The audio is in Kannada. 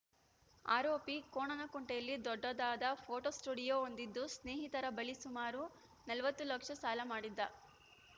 ಆರೋಪಿ ಕೋಣನಕುಂಟೆಯಲ್ಲಿ ದೊಡ್ಡದಾದ ಫೋಟೋ ಸ್ಟುಡಿಯೋ ಹೊಂದಿದ್ದು ಸ್ನೇಹಿತರ ಬಳಿ ಸುಮಾರು ನಲವತ್ತು ಲಕ್ಷ ಸಾಲ ಮಾಡಿದ್ದ